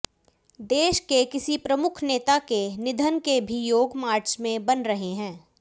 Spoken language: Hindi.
देश के किसी प्रमुख नेता के निधन के भी योग मार्च में बन रहे हैं